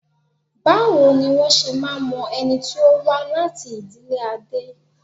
Báwo ni wọ́n ṣe máa ń mọ ẹni tí ó wá láti ìdílé Adé?